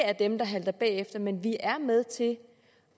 af dem der halter bagefter men er med til at